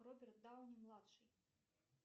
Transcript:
роберт дауни младший